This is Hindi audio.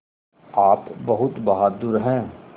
आप बहुत बहादुर हैं